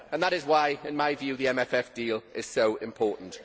That is why, in my view, the MFF deal is so important.